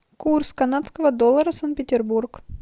курс канадского доллара санкт петербург